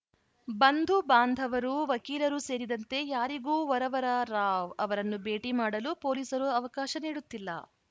ಬಂಧು ಬಾಂಧವರು ವಕೀಲರು ಸೇರಿದಂತೆ ಯಾರಿಗೂ ವರವರ ರಾವ್‌ ಅವರನ್ನು ಭೇಟಿ ಮಾಡಲು ಪೊಲೀಸರು ಅವಕಾಶ ನೀಡುತ್ತಿಲ್ಲ